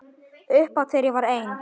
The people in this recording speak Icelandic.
Upphátt þegar ég var ein.